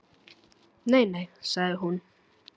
Nei, nei sagði hún.